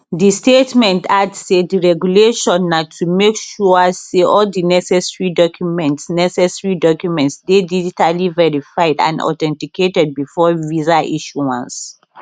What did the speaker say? di statement add say di regulation na to make sure say all di necessary documents necessary documents dey digitally verified and authenticated before visa issuance